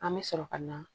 An bɛ sɔrɔ ka na